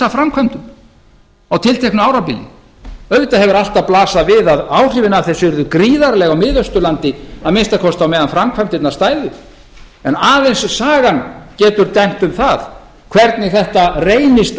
risaframkvæmdum á tilteknu árabili auðvitað hefur alltaf blasað við að áhrifin af þessu yrðu gríðarleg á miðausturlandi að minnsta kosti á meðan framkvæmdirnar stæðu en aðeins sagan getur dæmt um það hvernig þetta reynist